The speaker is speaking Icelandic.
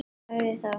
Sagði þá